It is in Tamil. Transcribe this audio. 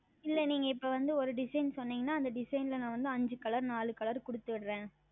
இல்லை நீங்கள் இப்பொழுது வந்து ஓர் Design சொன்னீர்கள் என்றால் அந்த Design ல் நான் வந்து ஐந்து Color நான்கு Color கொடுத்து விடுகிறேன்